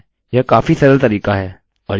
अतः कूकीसcookies के साथ कार्य करना कठिन नहीं है